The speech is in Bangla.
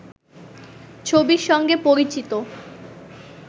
ছবির সঙ্গে পরিচিত